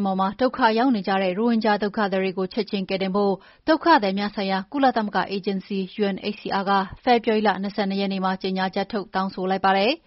င်းပေါ်မှာ ဒုက္ခရောက်နေကြတဲ့ ရိုဟင်ဂျာဒုက္ခသည်တွေကိုချက်ချင်း ကယ်တင်ဖို့ ဒုက္ခသည်များဆိုင်ရာ ကုလသမဂ္ဂအေဂျင်စီ UNHCR က ဖေဖော်ဝါရီလ ၂၂ ရက်နေ့မှာ ကြေငြာချက်ထုတ် တောင်းဆိုလိုက်ပါတယ်။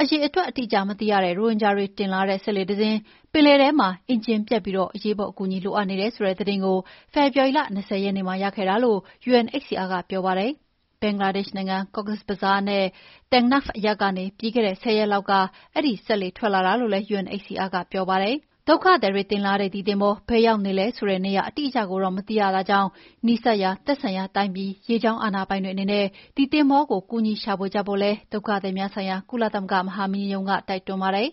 အရေအတွက်အတိအကျမသိရတဲ့ ရိုဟင်ဂျာတွေတင်လာတဲ့ စက်လှေတစင်း ပင်လယ်ထဲမှာ အင်ဂျင်ပျက်ပြီး အရေးပေါ် အကူအညီလိုအပ်နေတယ်ဆိုတဲ့သတင်းကို ဖေဖော်ဝါရီလ ၂၀ ရက်နေ့မှာ ရခဲ့တာလို့ UNHCR ကပြောပါတယ်။ ဘင်္ဂလားဒေ့ရှ်နိုင်ငံ Cox’s Bazar နဲ့ Teknaf အရပ်ကနေ ပြီးခဲ့တဲ့ ၁၀ ရက်လောက်က အဲဒီစက်လှေထွက်လာတာလို့လည်း UNHCR ကပြောပါတယ်။ ဒုက္ခသည်တွေ တင်လာတဲ့ ဒီသင်္ဘော ဘယ်ရောက်နေလဲဆိုတဲ့နေရာအတိအကျကိုတော့ မသိရတာကြောင့် နီးစပ်ရာသက်ဆိုင်ရာတိုင်းပြည် ရေကြောင်းအာဏာပိုင်တွေအနေနဲ့ ဒီသင်္ဘောကို ကူညီရှာဖွေကြဖို့ကိုလည်း ဒုက္ခသည်များဆိုင်ရာ ကုလသမဂ္ဂမဟာမင်းကြီးရုံးက တိုက်တွန်းပါတယ်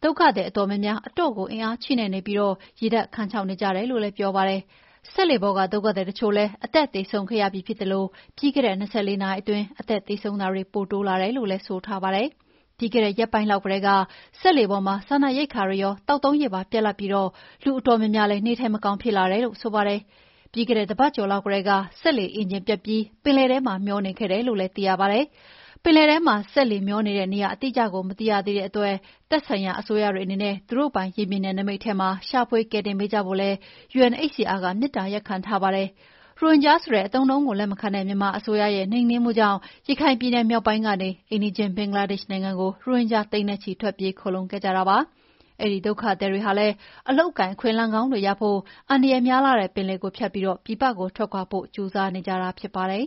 ။ ဒုက္ခသည်အတော်များများ အတော့်ကို အားအင်ချိနဲ့နေပြီး ရေဓာတ်ခမ်းခြောက်နေကြတယ် လို့လည်း ပြောပါတယ်။ စက်လှေပေါ်က ဒုက္ခသည်တချို့လည်း အသက်သေဆုံးခဲ့ရပြီးဖြစ်သလို ပြီးခဲ့တဲ့ ၂၄ နာရီအတွင်း အသက်သေဆုံးတာတွေ ပိုတိုးလာတယ်လို့လည်း ပြောပါတယ်။ ပြီးခဲ့တဲ့ ရက်ပိုင်းလောက်ကတည်းက စက်လှေပေါ်မှာ စားနပ်ရိက္ခာတွေရော သောက်သုံးရေပါ ပြတ်လပ်ပြီး လူအတော်များများလည်း နေထိုင်မကောင်းဖြစ်လာတယ်လို့ဆိုပါတယ်။ ပြီးခဲ့တဲ့ တပတ်ကျော်လောက်ကတည်းက စက်လှေအင်ဂျင်ပျက်ပြီး ပင်လယ်ထဲမှာ မျောနေခဲ့တယ်လို့ သိရပါတယ်။ ပင်လယ်ထဲမှာ စက်လှေမေ ျှာနေတဲ့နေရာအတိအကျကိုမသိရသေးတဲ့အတွက် သက်ဆိုင်ရာအစိုးရတွေအနေနဲ့ သူတို့ပိုင်ရေပြင်နယ်နိမိတ်ထဲမှာ ရှာဖွေကယ်တင်ပေးကြဖို့လည်း UNHCR ကမေတ္တာရပ်ခံထားပါတယ်။ ရိုဟင်ဂျာဆိုတဲ့အသုံးအနှုန်းကို လက်မခံတဲ့ မြန်မာအစိုးရရဲ့ နှိမ်နင်းမှုကြောင့် ရခိုင်ပြည်နယ်ြမောက်ပိုင်းကနေ အိမ်နီးချင်းဘင်္ဂလားဒေ့ရှ်နိုင်ငံကို ရိုဟင်ဂျာသိန်းနဲ့ချီ ထွက်ပြေးခိုလှုံခဲ့ကြတာပါ။ အဲဒီက ဒုက္ခသည်တွေဟာလည်း အလုပ်အကိုင်အခွင့်အလမ်းကောင်းတွေရဖို့ အန္တရာယ်များလှတဲ့ပင်လယ်ကို ဖြတ်ပြီး ပြည်ပကို ထွက်ခွါဖို့ ကြိုးစားနေကြတာဖြစ်ပါတယ်။